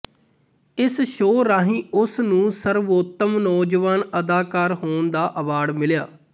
ਇਸ ਸ਼ੋਅ ਰਾਹੀਂ ਉਸ ਨੂੰ ਸਰਵੋਤਮ ਨੌਜਵਾਨ ਅਦਾਕਾਰਾ ਹੋਣ ਦਾ ਅਵਾਰਡ ਮਿਲਿਆ